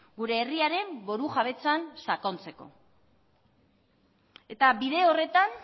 gure herriaren buru jabetzan sakontzeko eta bide horretan